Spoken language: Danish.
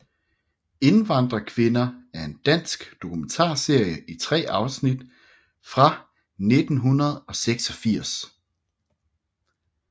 Indvandrerkvinder er en dansk dokumentarserie i tre afsnit fra 1986